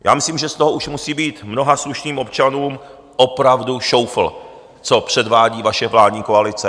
Já myslím, že z toho už musí být mnoha slušným občanům opravdu šoufl, co předvádí vaše vládní koalice.